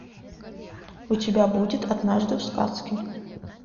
у тебя будет однажды в сказке